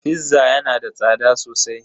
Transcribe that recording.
"Fizza" yana da tsada sosai.